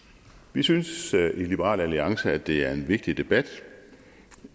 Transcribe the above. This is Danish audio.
vi synes i liberal alliance at det er en vigtig debat